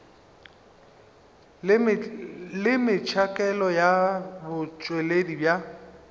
le metšhakelo ya botšweletši bja